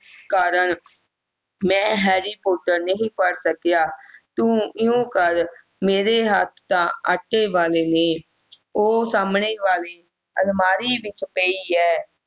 ਕਾਰਨ ਮੈਂ harry porter ਨਹੀਂ ਪੜ੍ਹ ਸਕਿਆ ਤੂੰ ਇਉਂ ਕਰ ਮੇਰੇ ਹੱਥਾਂ ਆਟੇ ਵਾਲੇ ਨੇ ਔਹ ਸਾਹਮਣੇ ਵਾਲੀ ਅਲਮਾਰੀ ਵਿਚ ਪਈ ਐ